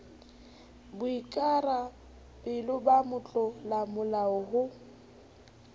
boikara belo ba motlolamolao ho